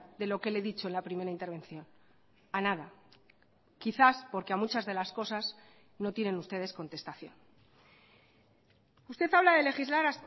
de lo que le he dicho en la primera intervención a nada quizás porque a muchas de las cosas no tienen ustedes contestación usted habla de legislar